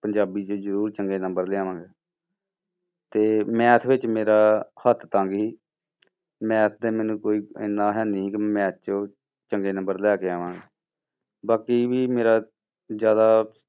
ਪੰਜਾਬੀ 'ਚ ਜ਼ਰੂਰ ਚੰਗੇ number ਲਿਆਵਾਂਗਾ ਤੇ math ਵਿੱਚ ਮੇਰਾ ਹੱਥ ਤੰਗ ਸੀ math ਤੇ ਮੈਨੂੰ ਕੋਈ ਇੰਨਾ ਹੈਨੀ ਸੀ ਕਿ math ਚੋਂ ਚੰਗੇ number ਲੈ ਕੇ ਆਵਾਂ, ਬਾਕੀ ਵੀ ਮੇਰਾ ਜ਼ਿਆਦਾ